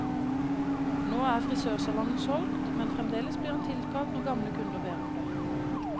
Nå er frisørsalongen solgt, men fremdeles blir han tilkalt når gamle kunder ber om det.